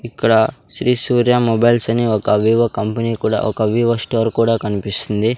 ఇక్కడ శ్రీ సూర్య మొబైల్స్ అని ఒక వివో కంపెనీ కూడా ఒక వివో స్టోర్ కూడా కనిపిస్తుంది.